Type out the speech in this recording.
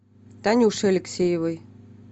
танюше алексеевой